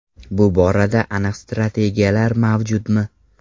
Bu borada aniq strategiyalar mavjudmi?